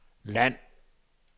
land